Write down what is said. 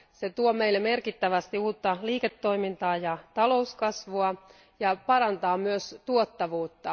Ne tuovat meille merkittävästi uutta liiketoimintaa ja talouskasvua ja parantavat myös tuottavuutta.